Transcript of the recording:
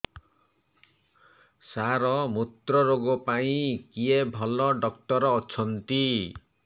ସାର ମୁତ୍ରରୋଗ ପାଇଁ କିଏ ଭଲ ଡକ୍ଟର ଅଛନ୍ତି